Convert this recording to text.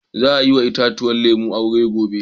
Za a yi wa itatuwan lemu aure gobe.